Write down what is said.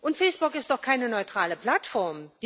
Und Facebook ist doch keine neutrale Plattform!